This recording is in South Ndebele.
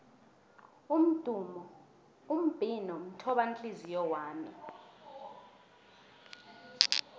umbhino mthobanhliziyo wami